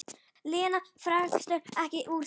Lena fékkst ekki úr því.